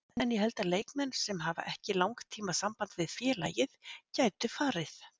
En ég held að leikmenn sem hafa ekki langtíma samband við félagið gætu farið.